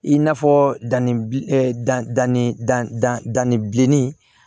I n'a fɔ danni danni da ni bilennin